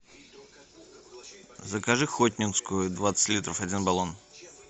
закажи хотнинскую двадцать литров один баллон